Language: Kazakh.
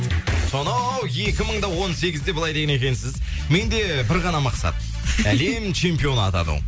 сонау екі мың да он сегізде былай деген екенсіз менде бір ғана мақсат әлем чемпионы атану